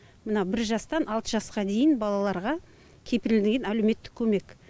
мына бір жастан алты жасқа дейін балаларға кепілдірілген әлеуметтік көмек